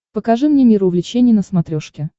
покажи мне мир увлечений на смотрешке